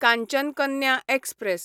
Kanchan Kanya express